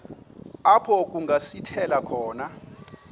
apho kungasithela khona